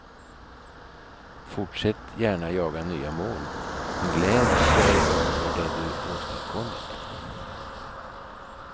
Fortsätt gärna jaga nya mål, men gläd dig över det du åstadkommit.